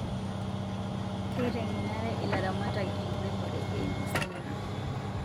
Keitengenare ilaramatak enkiremore eimu semina